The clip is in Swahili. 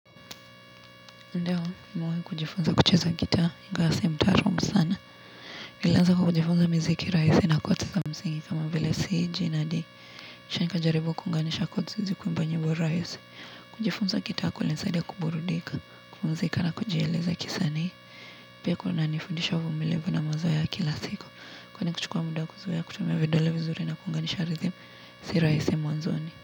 Ndio nimewahi kujifunza kucheza gitaa ingawa si mtaraamu sana nilianza kwa kujifunza miziki rahisi na kotis za mziki kama vile siiji nani nishaga jaribu kuunganisha kotis ziweze kuimba nyimbo rahisi kujifunza gitaa kulinisaidia kuburudika, kupumzika na kujieleza kisanii pia kunanifundisha uvumilivu na mazoea ya kila siku kwani kuchukua mda kuzoea kutumia vidole vizuri na kuunganisha ridhimu si rahisi mwanzoni.